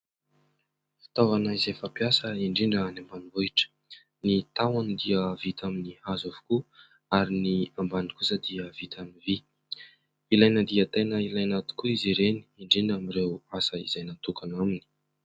Fitaovana izay fampiasa indrindra any ambanivohitra: ny tahony dia vita amin'ny hazo avokoa ary ny ambany kosa dia vita amin'ny vy; ilaina dia tena ilaina tokoa izy ireny indrindra amin'ireo asa izay natokana aminy.